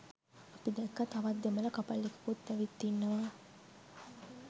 අපි දැක්කා තවත් දෙමළ කපල් එකකුත් ඇවිත් ඉන්නවා.